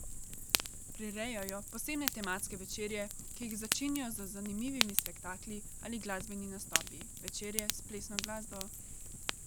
Prirejajo posebne tematske večerje, ki jih začinijo z zanimivimi spektakli ali glasbenimi nastopi, večerje s plesno glasbo ...